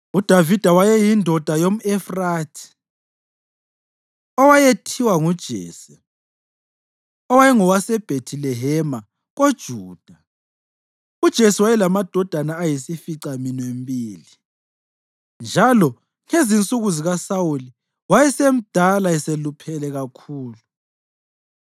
UDavida wayeyindoda yomʼEfrathi owayethiwa nguJese, owayengowase Bhethilehema koJuda. UJese wayelamadodana ayisificaminwembili, njalo ngezinsuku zikaSawuli wayesemdala eseluphele kakhulu.